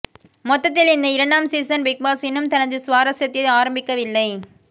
மொத்தத்தில் இந்த இரண்டாம் சீசன் பிக்பாஸ் இன்னும் தனது சுவாரஸ்யத்தை ஆரம்பிக்கவில்லை